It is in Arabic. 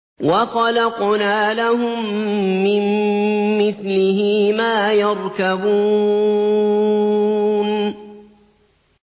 وَخَلَقْنَا لَهُم مِّن مِّثْلِهِ مَا يَرْكَبُونَ